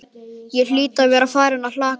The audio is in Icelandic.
Ég hlýt að vera farin að kalka,